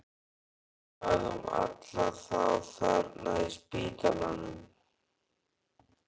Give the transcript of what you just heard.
Hvað um alla þá þarna á spítalanum?